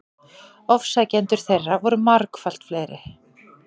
Ofsækjendur þeirra voru margfalt fleiri.